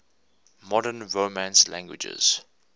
modern romance languages